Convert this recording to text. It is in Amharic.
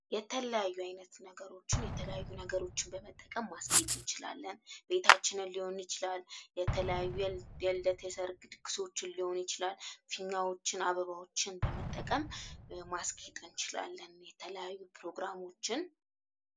የተለያዩ አይነት ነገሮችን የተለያዩ ነገሮችን በመጠቀም ማስጌጥ እንችላለን እቤታችን ሊሆን ይችላል፤ የተለያዩ የልደት የሠርግ ፕሮግራሞችን ሊሆን ይችላል ፊኛዎችን፥ አበባዎችን በመጠቀም ማስጌጥ። እንችላለንየተለያዩ ፕሮግራሞችን..